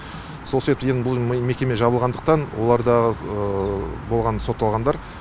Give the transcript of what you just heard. сол себепті енді бұл мекеме жабылғандықтан оларда болған сотталғандар